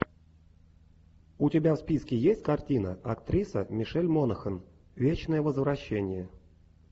у тебя в списке есть картина актриса мишель монахэн вечное возвращение